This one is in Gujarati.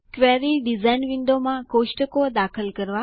ક્વેરી ડીઝાઇન વિન્ડોમાં ટેબલો કોષ્ટકો દાખલ કરવા